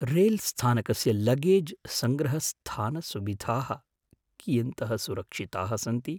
रेल्स्थानकस्य luggage सङ्ग्रहस्थानसुविधाः कियन्तः सुरक्षिताः सन्ति?